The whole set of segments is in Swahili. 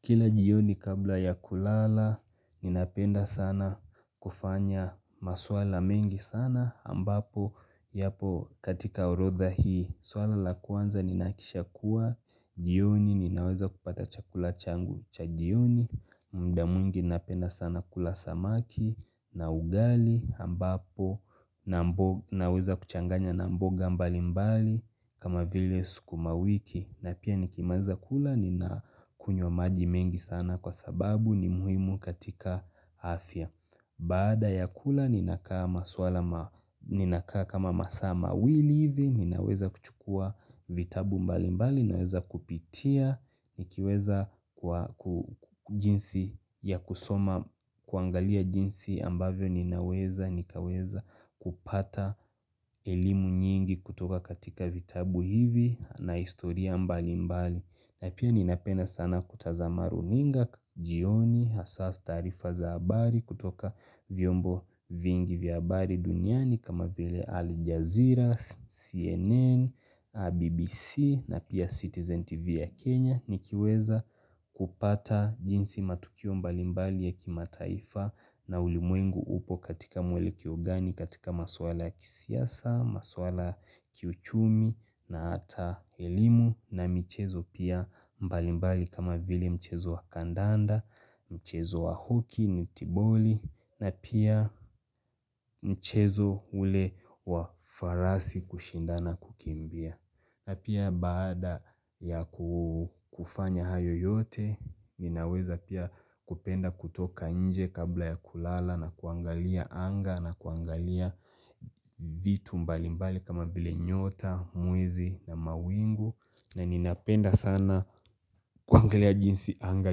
Kila jioni kabla ya kulala, ninapenda sana kufanya maswala mengi sana, ambapo, yapo katika orodha hii, swala la kwanza, ninakisha kuwa jioni, ninaweza kupata chakula changu cha jioni, mda mwingi ninapenda sana kula samaki, na ugali, ambapo, naweza kuchanganya na mboga mbali mbali, kama vile sukuma wiki, na pia nikimaliza kula ninakunywa maji mengi sana kwa sababu ni muhimu katika afya Baada ya kula ninakaa maswala ninakaa kama masaa mawili hivi ninaweza kuchukua vitabu mbali mbali ninaweza kupitia nikiweza kwa jinsi ya kusoma kuangalia jinsi ambavyo ninaweza nikaweza kupata ilimu nyingi kutoka katika vitabu hivi na historia mbali mbali na pia ninapenda sana kutazama runinga, jioni, hasa taarifa za abari kutoka vyombo vingi vya abari duniani kama vile Al Jazeera, CNN, BBC na pia Citizen TV ya Kenya nikiweza kupata jinsi matukio mbali mbali ya kimataifa na ulimwengu upo katika mwelekeo gani katika maswala ya kisiasa, maswala kiuchumi na hata ilimu na michezo pia mbalimbali kama vile mchezo wa kandanda, mchezo wa hockey, netiboli na pia mchezo ule wa farasi kushindana kukimbia na pia baada ya kufanya hayo yote, ninaweza pia kupenda kutoka nje kabla ya kulala na kuangalia anga na kuangalia vitu mbali mbali kama vile nyota, mwezi na mawingu na ninapenda sana kuangalia jinsi anga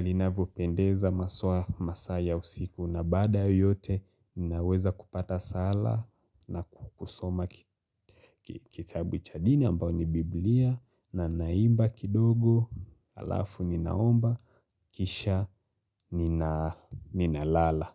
linavyopendeza maswa masaa ya usiku na baada ya yote ninaweza kupata sala na kusoma kitabu cha dini ambayo ni biblia na naimba kidogo alafu ninaomba kisha ninalala.